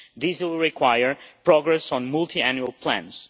This will require progress on multiannual plans.